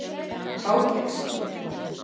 Háteigskirkju